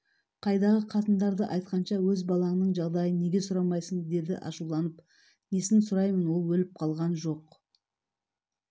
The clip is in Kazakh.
қайдағы қатындарды айтқанша өз балаңның жағдайын неге сұрамайсың деді ашуланып несін сұраймын ол өліп қалған жоқ